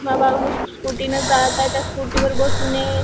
स्कु scooty ने जात आहे त्या स्कुटीवर बसून हे.